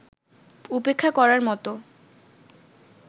উপেক্ষা করার মতো